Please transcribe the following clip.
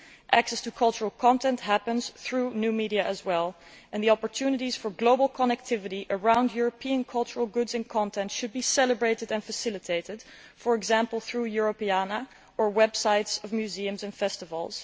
Access to cultural content happens through new media as well, and the opportunities for global connectivity around European cultural goods and content should be celebrated and facilitated, for example, through Europeana or websites of museums and festivals.